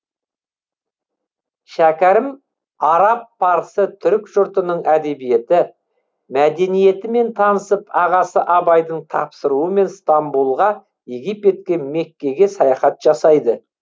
шәкәрім араб парсы түрік жұртының әдебиеті мәдениетімен танысып ағасы абайдың тапсыруымен стамбулға египетке меккеге саяхат жасайды